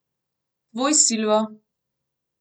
Tvoj Silvo.